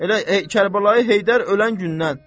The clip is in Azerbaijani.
Elə Kərbəlayı Heydər ölən gündən.